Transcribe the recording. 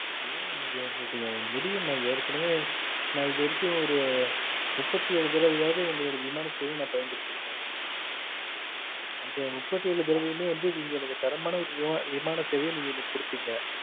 ஏ maam முடியாதுன்னு சொல்லுறேங்க முடியும் maam ஏற்கனவே நா இது வரைக்கும் ஒரு முப்பத்தி ஏழு தடவை நாளும் ஒங்களோட விமான சேவைய நான் பயன்படுத்தி இருப்பேன் அந்த முப்பத்தி ஏழு தடவையுமே நீங்க எனக்கு தரமான ஒரு விமான சேவைய நீங்க குடுத்தேங்க